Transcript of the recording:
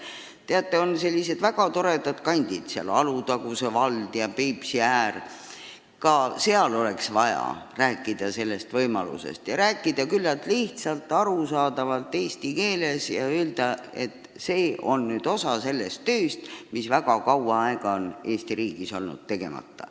Teate, meil on sellised väga toredad kandid nagu Alutaguse ja Peipsiääre vald, kus oleks ka vaja rääkida sellest võimalusest, teha seda küllalt lihtsas ja arusaadavas eesti keeles ja öelda, et see on nüüd osa sellest tööst, mis on väga kaua aega olnud Eesti riigis tegemata.